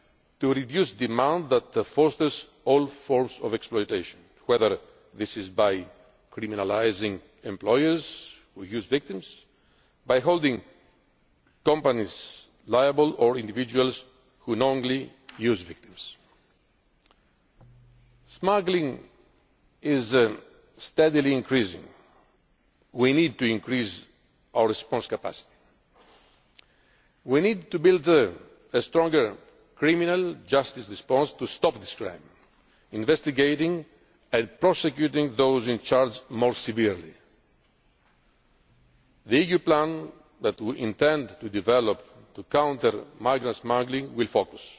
action to reduce the demand that fosters all forms of exploitation, whether this is by criminalising employers who use victims, or by holding companies liable or individuals who knowingly use victims. Smuggling is steadily increasing. We need to increase our response capacity. We need to build a stronger criminal justice response to stop this crime, investigating and prosecuting those in charge more severely. The EU plan that we intend to develop to counter migrant smuggling